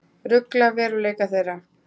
Rugla veruleika þeirra.